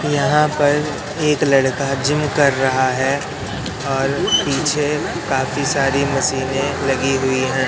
यहां पर एक लड़का जिम कर रहा है और पीछे काफी सारी मशीने लगी हुई है।